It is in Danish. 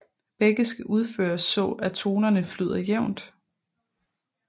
Begge skal udføres så at tonerne flyder jævnt